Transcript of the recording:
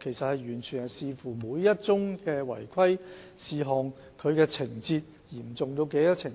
這完全視乎每宗違規事件的情況有多嚴重，以及事件